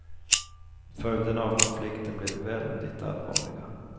Följderna av konflikten blir väldigt allvarliga.